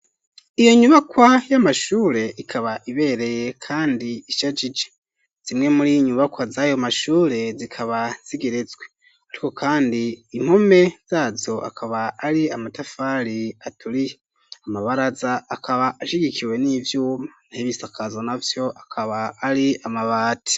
Iyo nyubakwa, y'amashure, ikaba ibereye, kandi ishajije; zimwe muri nyubakwa z'ayo mashure, zikaba zigeretswe; ariko kandi, impome zazo, akaba ari amatafari aturiye; amabaraza, akaba ashigikiwe n'ivyuma, n'ibisakazo navyo, akaba ari amabati.